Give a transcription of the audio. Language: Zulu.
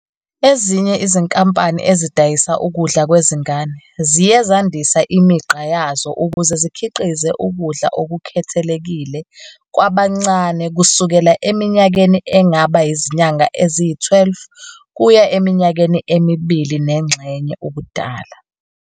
Ezinye izinkampani ezidayisa ukudla kwezingane ziye zandisa imigqa yazo ukuze zikhiqize ukudla okukhethekile kwabancane kusukela eminyakeni engaba yizinyanga eziyi-12 kuye eminyakeni emibili nengxenye ubudala.